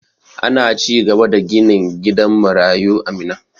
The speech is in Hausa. Ana cigaba da ginin gidan marayu a Minna.